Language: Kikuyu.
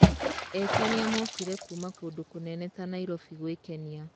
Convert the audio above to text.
Ekenia mokire kuma kũndũ kũnene ta Nairobi gũĩkenia.